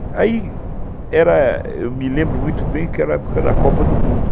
Ai, era, eu me lembro muito bem que era a época da Copa do Mundo.